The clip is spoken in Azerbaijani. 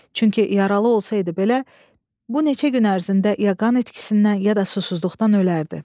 Çünki yaralı olsaydı belə, bu neçə gün ərzində ya qan itkisindən, ya da susuzluqdan ölərdi.